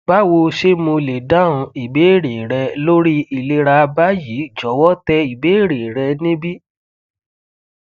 bawo ṣe mo le dahun ibeere rẹ lori ilera bayi jọwọ tẹ ibeere rẹ nibi